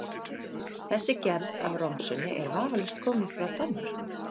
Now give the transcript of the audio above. Þessi gerð af romsunni er vafalaust komin frá Danmörku.